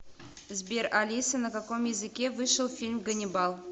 сбер алиса на каком языке вышел фильм ганнибал